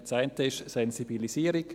Das eine ist Sensibilisierung.